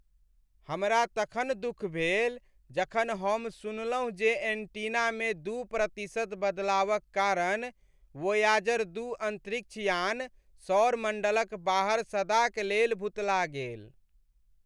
हमरा तखन दुख भेल जखन हम सुनलहुँ जे एन्टीनामे दू प्रतिशत बदलावक कारण वोयाजर दू अन्तरिक्ष यान सौर मण्डलक बाहर सदाक लेल भुतला गेल।